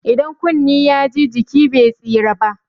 Idan kunne ya ji, jiki be tsira ba?